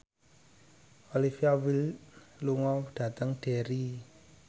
Olivia Wilde lunga dhateng Derry